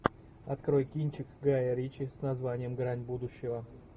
открой кинчик гая ричи с названием грань будущего